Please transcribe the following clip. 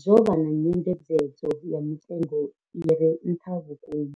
zwo vha na nyengedzedzo ya mitengo i re nṱha vhukuma.